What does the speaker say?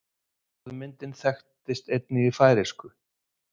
Orðmyndin þekkist einnig í færeysku.